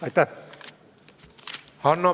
Aitäh!